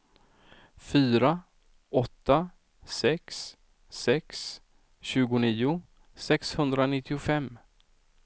fyra åtta sex sex tjugonio sexhundranittiofem